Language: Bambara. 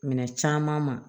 Minɛn caman ma